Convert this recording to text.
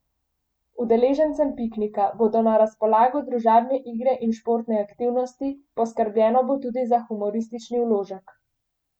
Udeležencem piknika bodo na razpolago družabne igre in športne aktivnosti, poskrbljeno bo tudi za humoristični vložek.